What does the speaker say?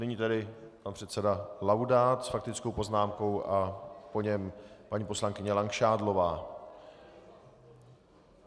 Nyní tedy pan předseda Laudát s faktickou poznámkou a po něm paní poslankyně Langšádlová.